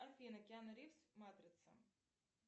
афина киану ривз матрица